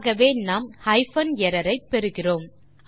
ஆகவே நாம் hyphen error ஐ பெறுகிறோம்